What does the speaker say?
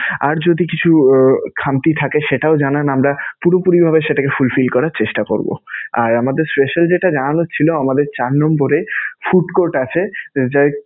আর যদি কিছু খামতি থাকে সেটাও জানান. আমরা পুরোপুরিভাবে সেটাকে full fill করার চেষ্টা করবো. আর আমাদের special যেটা জানানোর ছিলো আমাদের চার নম্বরে food court আছে যাকে